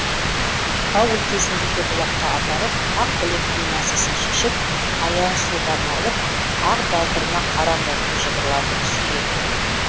тау өлкесіндегі бұлаққа апарып ақбілектің мәсісін шешіп аяғын суға малып ақ балтырына қара мұртын жыбырлатып сүйеді